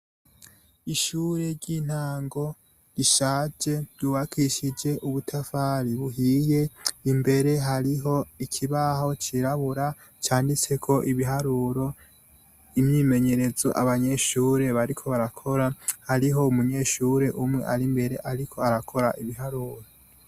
Ishure ry' intango rishaje ryubakishij' ubutafari buhiye, imbere harih' ikibaho cirabura canditsek' ibiharuro, imyimenyerez' abanyeshure bariko barakora, harih' umunyeshur'umw' arimber' arik' arakor' ibiharuro.